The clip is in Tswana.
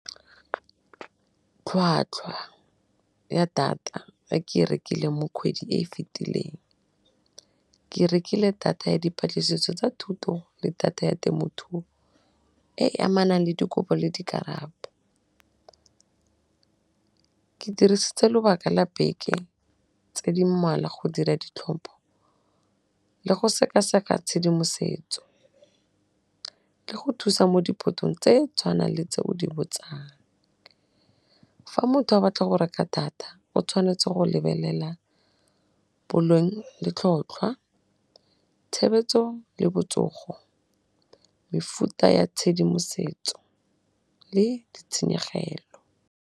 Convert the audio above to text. Tlhwatlhwa ya data e ke e rekileng mo khwedi e e fitileng, ke rekile data ya dipatlisiso tsa thuto le data ya temothuo e e amanang le dikopo le dikarabo, ke dirisitse lobaka la beke tse di mmalwa go dira ditlhopho le go sekaseka tshedimosetso, le go thusa mo diphetong tse tshwanang le tse o di botsang. Fa motho a batla go reka data o tshwanetse go lebelela bolong le tlhotlhwa , tshebetso le botsogo, mefuta ya tshedimosetso le di tshenyegelo.